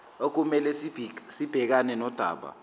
okumele sibhekane nodaba